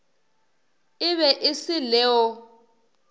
e be e se leo